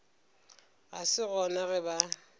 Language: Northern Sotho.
ga se gona ge ba